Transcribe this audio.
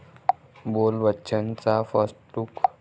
बोल बच्चन'चा first look